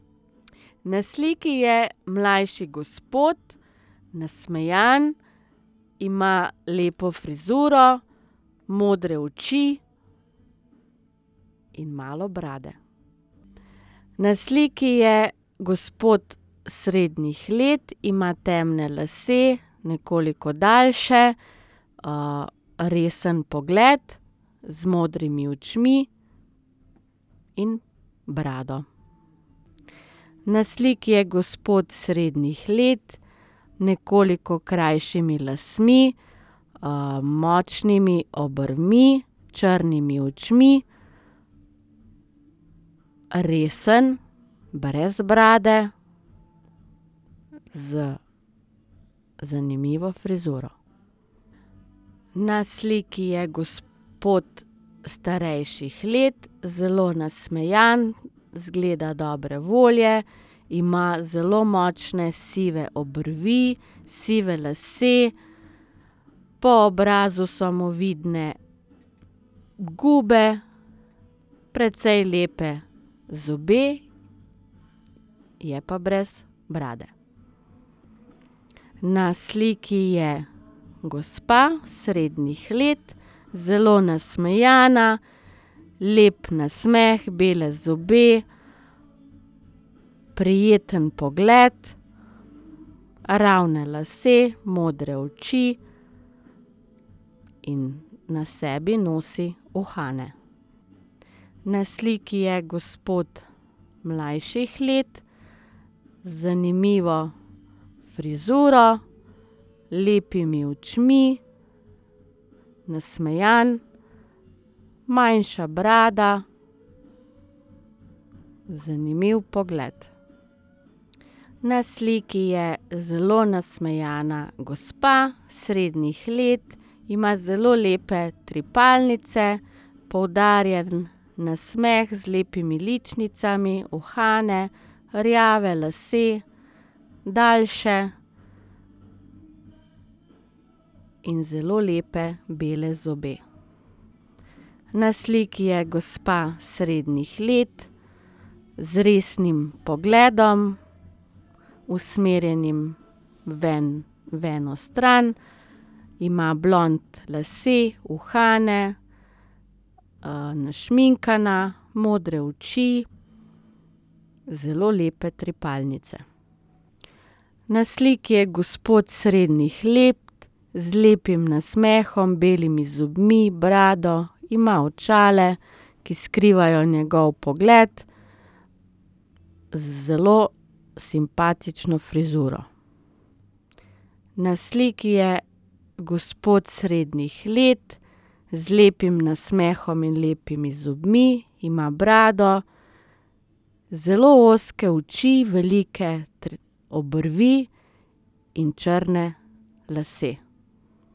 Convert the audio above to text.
Na sliki je mlajši gospod, nasmejan, ima lepo frizuro, modre oči in malo brade. Na sliki je gospod srednjih let. Ima temne lase, nekoliko daljše, resen pogled z modrimi očmi in brado. Na sliki je gospod srednjih let, nekoliko krajšimi lasmi, močnimi obrvmi, črnimi očmi, resen, brez brade, z zanimivo frizuro. Na sliki je gospod starejših let, zelo nasmejan, izgleda dobre volje. Ima zelo močne sive obrvi, sive lase, po obrazu so mu vidne gube, precej lepe zobe. Je pa brez brade. Na sliki je gospa srednjih let, zelo nasmejana, lep nasmeh, bele zobe. Prijeten pogled, ravni lasje, modre oči in na sebi nosi uhane. Na sliki je gospod mlajših let z zanimivo frizuro, lepimi očmi, nasmejan, manjša brada, zanimiv pogled. Na sliki je zelo nasmejana gospa srednjih let. Ima zelo lepe trepalnice, poudarjen nasmeh z lepimi ličnicami, uhane, rjave lase, daljše, in zelo lepe bele zobe. Na sliki je gospa srednjih let z resnim pogledom, usmerjenim v en, v eno stran. Ima blond lase, uhane, našminkana, modre oči, zelo lepe trepalnice. Na sliki je gospod srednjih let z lepim nasmehom, belimi zobmi, brado. Ima očala, ki skrivajo njegov pogled. Z zelo simpatično frizuro. Na sliki je gospod srednjih let z lepim nasmehom in lepimi zobmi, ima brado. Zelo ozke oči, velike obrvi in črne lase.